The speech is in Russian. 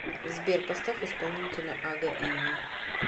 сбер поставь исполнителя ага ини